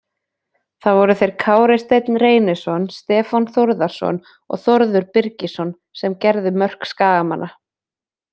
Það voru þeir Kári Steinn Reynisson, Stefán Þórðarson og Þórður Birgisson sem gerðu mörk Skagamanna.